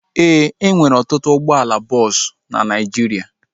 E nwere ọtụtụ ụgbọala bọọsu na Naijiria